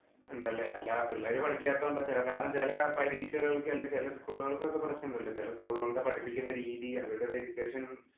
ഉണ്ടല്ലേ. അല്ലാതെ പിള്ളാര്‌ പഠിക്കാത്തോണ്ടെ ഒക്കെയല്ല. കാരണം ചില പരീക്ഷകള്‍ക്ക് അല്ലെങ്കില്‍ ചെല school ഉകള്‍ക്ക് ഒക്കെ പ്രശ്നം ഉണ്ടല്ലോ. ചെല school ഉകളില്‍ പഠിപ്പിക്കുന്ന രീതി വരുടെ ഒരു education